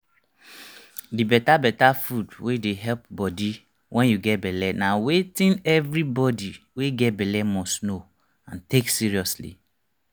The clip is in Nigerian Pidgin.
the better better food wey dey help body wen you get belle na wetin every body wey get belle must know and take seriously